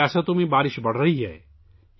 کئی ریاستوں میں بارش بڑھ رہی ہے